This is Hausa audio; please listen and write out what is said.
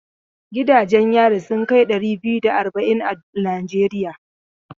Gidanjen yari sun kai ɗari biyu da arba'in a Najeriya.